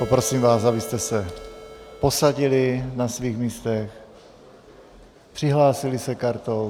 Poprosím vás, abyste se posadili na svých místech, přihlásili se kartou.